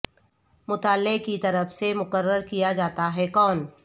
مطالعہ کی طرف سے مقرر کیا جاتا ہے کون